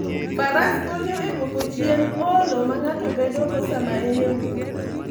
Faras konyo e duoko chien olo ma ng'ato bedogo sama en e wuoth.